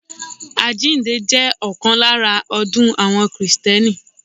Àjíǹde jẹ́ ọ̀kan lára ọdún àwọn kìtẹ́nì